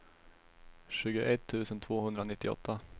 tjugoett tusen tvåhundranittioåtta